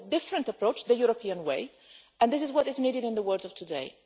This is a different approach the European way and this is what is needed in the world today.